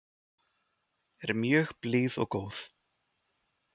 Er mjög blíð og góð.